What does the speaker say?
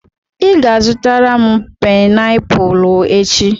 Ị ga-azụtara m painiapulu echi.